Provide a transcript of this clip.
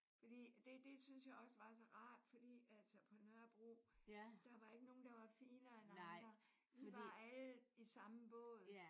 Fordi at det det syntes jeg også var så rart. Fordi altså på Nørrebro der var ikke nogen der var finere end andre. Vi var alle i samme båd